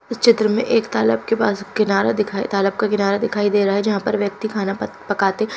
उस चित्र में एक तालाब के पास किनारा दिखाई तालाब का किनारा दिखाई दे रहा है जहां पे व्यक्ति खाना पक पकाते।